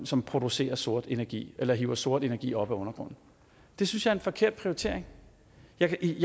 som producerer sort energi eller hiver sort energi op af undergrunden det synes jeg er en forkert prioritering jeg kan i